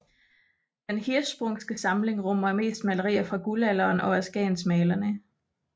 Den Hirschsprungske samling rummer mest malerier fra Guldalderen og af skagensmalerne